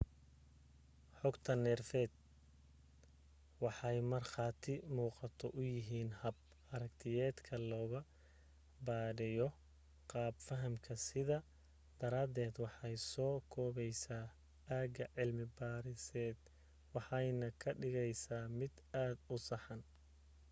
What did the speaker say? xogta neerfeed waxay markhaati muuqda u yihiin hab aragtiyeedka lagu baadhayo qaab fahamka sidaa daraadeed waxay soo koobaysaa aagga cilmi baadhiseed waxaanay ka dhigaysaa mid aad u saxan